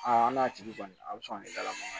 Aa an n'a tigi kɔni a bɛ sɔn ka ne kalaman